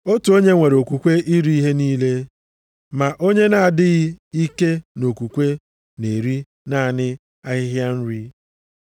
Otu onye nwere okwukwe iri ihe niile, ma onye na-adịghị ike nʼokwukwe, na-eri naanị ahịhịa nri.